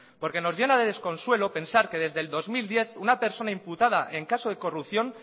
porque nos llena de desconsuelo pensar que desde dos mil diez una persona imputada en caso de corrupción